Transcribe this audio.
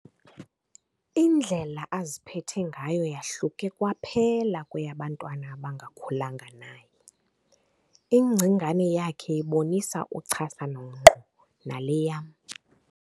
Indlela aziphethe ngayo yahluke kwaphela kweyabantwana abangakhulanga naye. ingcingane yakhe ibonisa uchasano ngqo nale yam